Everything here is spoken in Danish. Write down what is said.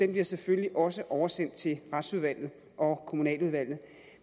vil jeg selvfølgelig også oversende til retsudvalget og kommunaludvalget